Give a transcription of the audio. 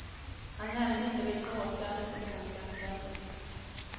Han nämnde inte vilka åtgärder som kan bli aktuella.